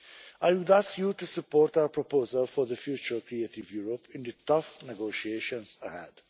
I would ask you to support our proposal for the future Creative Europe in the tough negotiations ahead.